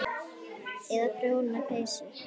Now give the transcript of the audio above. Eða prjóna peysur.